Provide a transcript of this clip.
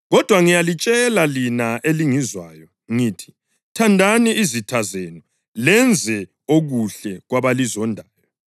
“Kodwa ngiyalitshela lina elingizwayo, ngithi: Thandani izitha zenu, lenze okuhle kwabalizondayo,